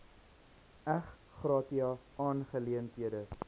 ex gratia aangeleenthede